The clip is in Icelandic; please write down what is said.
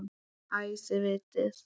Æ, þið vitið.